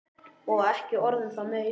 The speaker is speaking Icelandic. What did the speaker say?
Og ekki orð um það meira!